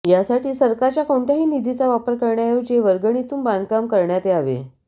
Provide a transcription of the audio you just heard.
यासाठी सरकारच्या कोणत्याही निधीचा वापर करण्याऐवजी वर्गणीतून बांधकाम करण्यात यावे